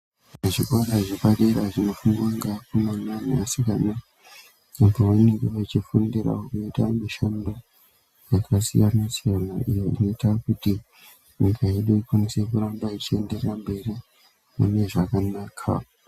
Zvikora zvepadera zvinofundwa ngevakomana nevasikana apo vanenge vachifundiravo kuita mishando yakasiyana-siyana, iyo inoita kuti nyika yedu ikwanise kuramba ichienderera mberi mune zvakanaka.